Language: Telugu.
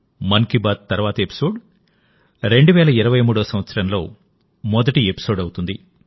మన్ కీ బాత్ తర్వాతి ఎపిసోడ్ 2023 సంవత్సరంలో మొదటి ఎపిసోడ్ అవుతుంది